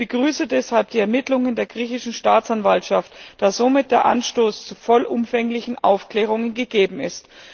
Ich begrüße deshalb die Ermittlungen der griechischen Staatsanwaltschaft, da somit der Anstoß zu vollumfänglichen Aufklärungen gegeben ist.